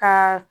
Ka